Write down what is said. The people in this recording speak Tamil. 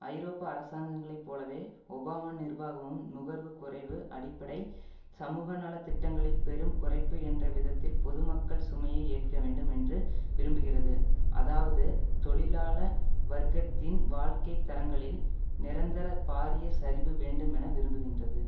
ஐரோப்ப அரசாங்கங்களை போலவே ஒபாமா நிர்வாகமும் நுகர்வுக் குறைவு அடிப்படை சமூகநல திட்டங்களில் பெரும் குறைப்பு என்ற விதத்தில் பொது மக்கள் சுமையை ஏற்க வேண்டும் என்று விரும்புகிறது அதாவது தொழிலாள வர்க்கத்தின் வாழ்க்கை தரங்களில் நிரந்தர பாரிய சரிவு வேண்டும் என விரும்புகின்றது